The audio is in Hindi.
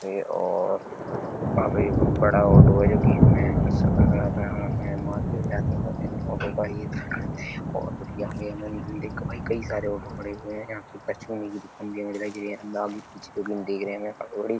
पे और काफी बड़ा ऑटो है जो कि मैं सफ़र कराता हूँ। मैं मार्ग ओर्ग जाती हैं तो अपने ऑटो का ही और जो कि यहाँ पे कई सारे ऑटो खड़े हुए हैं। यहाँ की पश्चिमी आगे पीछे देख रहे हैं हमें। बड़ी --